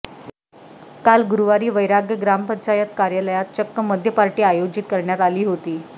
काल गुरुवारी वैराग ग्रामपंचायत कार्यालयात चक्क मद्य पार्टी आयोजित करण्यात आली होती